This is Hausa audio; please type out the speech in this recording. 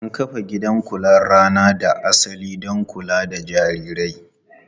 An kafa gidan kular rana da asali don kula da jarirai.